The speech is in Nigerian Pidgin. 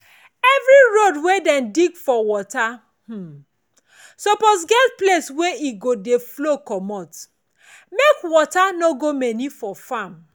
every road wey dem dig for water um suppose get place wey e go dey flow comot make water go to many for farm